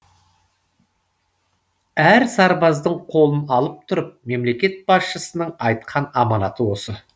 әр сарбаздың қолын алып тұрып мемлекет басшысының айтқан аманаты осы